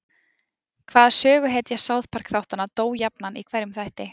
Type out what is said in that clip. Hvaða söguhetja South Park þáttanna dó jafnan í hverjum þætti?